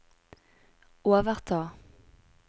overta